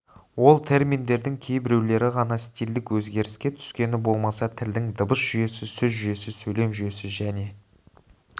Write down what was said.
ол терминдердің кейбіреулері ғана стильдік өзгеріске түскені болмаса тілдің дыбыс жүйесі сөз жүйесі сөйлем жүйесі және